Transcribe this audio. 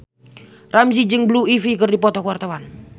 Ramzy jeung Blue Ivy keur dipoto ku wartawan